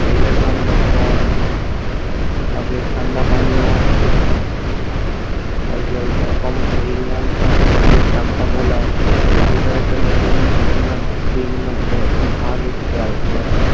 তেলের দাম অনেক কম তারপরে ঠান্ডা পানিও তারপর কোম্পানির যে চাম্পা কলা ঐটার একটা নতুন উম বিভিন্ন ভ্যাট ভাগ এসেছে আরেকটা